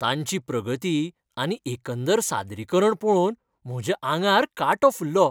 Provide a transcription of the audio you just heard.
तांची प्रगती आनी एकंदर सादरीकरण पळोवन म्हज्या आंगार कांटो फुल्लो.